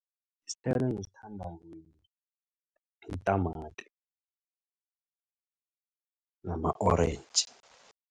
Isithelo engisithandako yitamati nama-orentji.